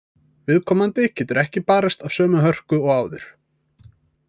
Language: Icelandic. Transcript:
Viðkomandi getur ekki barist af sömu hörku og áður.